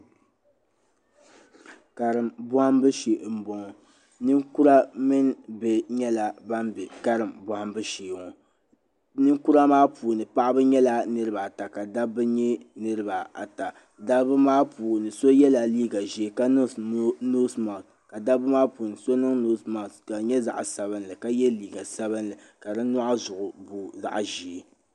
Karim bɔhimbu shee m bɔŋɔ ninkura mini bihi nyɛla ban bɛ karim bɔhimbu sheeŋɔ ninkura maa puuni paɣaba nyɛla niriba ata ka dabba nyɛ niriba ata dabba maa puuni so yɛlla liiga ʒee ka niŋ nosmak ka dabba maa puuni so niŋ nosmak ka di nyɛ zaɣi sabinli yɛ liiga sabinli ka di nyɔɣu zuɣu booi zaɣi ʒee.